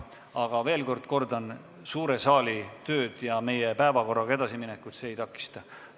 Aga kordan veel, et suure saali tööd ja meie päevakorraga edasiminekut see ei takista.